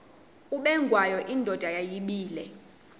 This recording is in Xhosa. ubengwayo indoda yayibile